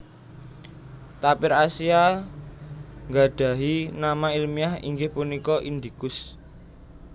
Tapir Asia nggadhahi nama ilmiah inggih punika indicus